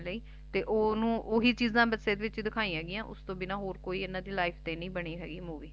ਤੇ ਓਹੀ ਚੀਜਾ Picture ਵਿੱਚ ਦਿਖਾਇਆ ਗਈਆਂ ਹੋਰ ਕੋਈ ਇੰਨਾ ਦੀ Life ਤੇ ਤੇ ਨਹੀਂ ਬਣੀ ਹੋਈ Movie